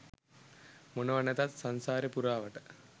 මොනවා නැතත් සංසාරෙ පුරාවට